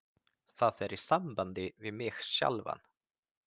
Það er í sambandi við mig sjálfan.